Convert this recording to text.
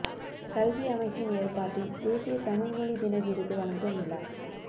கல்வி அமைச்சின் ஏற்பாட்டில் தேசிய தழிழ் மொழி தின விருது வழங்கும் விழா